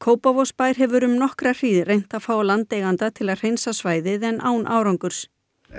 Kópavogsbær hefur um nokkra hríð reynt að fá landeiganda til að hreinsa svæðið en án árangurs